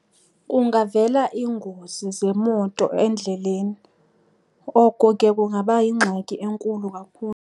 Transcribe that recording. Kungavela iingozi zemoto endleleni, oko ke kungaba yingxaki enkulu kakhulu.